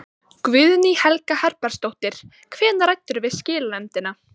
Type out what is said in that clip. Guðný Helga Herbertsdóttir: Hvenær ræddirðu við skilanefndina?